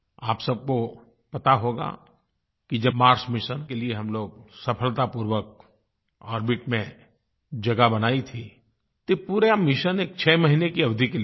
आप सबको पता होगा कि जब मार्स मिशन के लिये हम लोग सफलतापूर्वक ओर्बिट में जगह बनाई थी तो ये पूरा मिशन एक 6 महीने की अवधि के लिये था